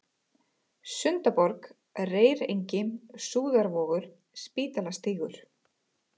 Sundaborg, Reyrengi, Súðarvogur, Spítalastígur